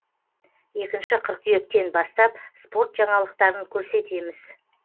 екінші қыркүйектен бастап спорт жаңалықтарын көрсетеміз